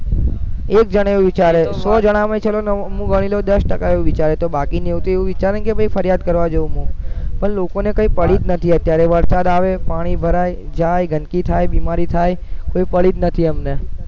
એક જણા એવું વિચારે સો જણામાં ય ચલોને હું ગણી લવ દસ ટકા એવું વિચારે તો બાકીના તો એવું વિચારે ને ફરિયાદ કરવા જાવ હું પણ લોકોને કઈ પડી જ નથી અત્યારે વરસાદ આવે પાણી ભરાય જાય ગંદકી થાય બીમારી થાય તોય પડી જ નથી અમને